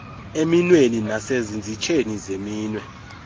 eminweni nasezinzitsheni zeminwe